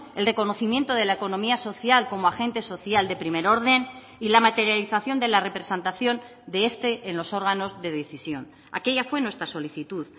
el reconocimiento de la economía social como agente social de primer orden y la materialización de la representación de este en los órganos de decisión aquella fue nuestra solicitud